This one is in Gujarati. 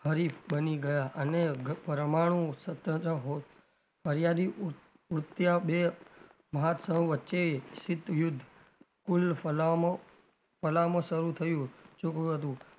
હરીફ બની ગયાં અને પરમાણું સિત્ત યુદ્ધ કુલ ફલામો ફલામો શરુ થયું